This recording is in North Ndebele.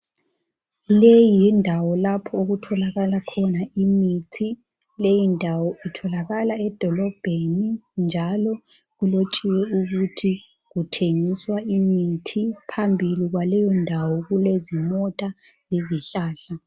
Leyi yindawo lapho okutholakala khona imithi leyi ndawo itholakala edolobheni njalo kulotshiwe ukuthi kuthengiswa imithi phambili kwaleyondawo kulezimota lezihlahla.